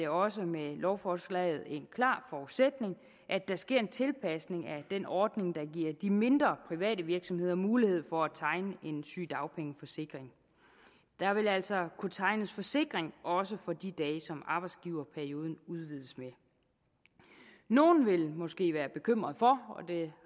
også med lovforslaget en klar forudsætning at der ske en tilpasning af den ordning der giver de mindre private virksomheder mulighed for at tegne en sygedagpengeforsikring der vil altså kunne tegnes forsikring også for de dage som arbejdsgiverperioden udvides med nogle vil måske være bekymret for og det